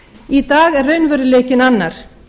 í dag er raunveruleikinn annar